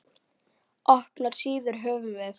Opnar síður höfum við.